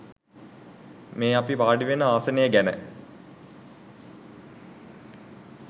මේ අපි වාඩිවෙන ආසනය ගැන